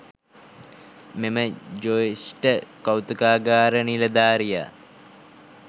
මෙම ජ්‍යෙෂ්ඨ කෞතුකාගාර නිලධාරියා